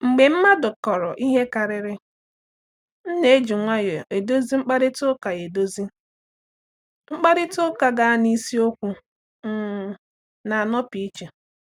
Mgbe mmadụ kọọrọ ihe karịrị, m na-eji nwayọọ eduzi mkparịta ụka eduzi mkparịta ụka gaa n’isiokwu um na-anọpụ iche.